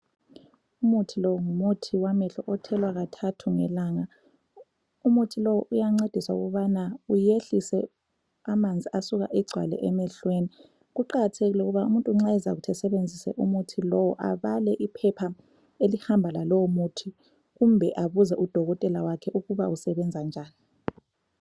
Umuthi lo, ngumuthi wamehlo othelwa kathathu ngelanga. Umuthi lo, uyancedisa ukubana uyehlise amanzi asuka egcwale emehlweni. Kuqakathekile ukuba umuntu nxa ezakuthi asebenzise umuthi lowu, abale iphepha elihamba lalowo muthi kumbe abuze udokotela wakhe ukuba usebenza njani.